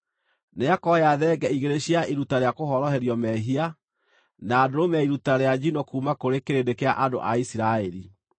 Nĩakoya thenge igĩrĩ cia iruta rĩa kũhoroherio mehia, na ndũrũme ya iruta rĩa njino kuuma kũrĩ kĩrĩndĩ kĩa andũ a Isiraeli.